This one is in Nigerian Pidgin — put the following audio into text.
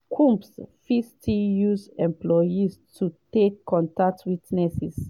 combs fit still use employees to take contact witnesses.